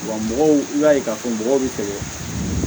Wa mɔgɔw i b'a ye k'a fɔ mɔgɔw bɛ fɛ